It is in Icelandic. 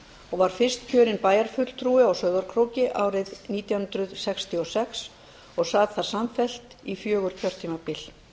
og var fyrst kjörinn bæjarfulltrúi á sauðárkróki árið nítján hundruð sextíu og sex og sat þar samfellt í fjögur kjörtímabil